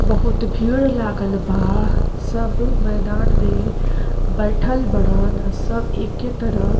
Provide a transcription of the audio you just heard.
बहुत भीड़ लागल बा। सब मैदान में बइठल बड़न अ। सब एके तरह --